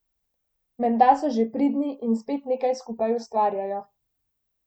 Menda so že pridni in spet nekaj skupaj ustvarjajo.